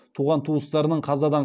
туған туыстарының қазадан